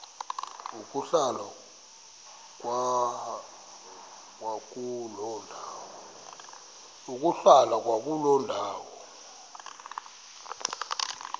ukuhlala kwakuloo ndawo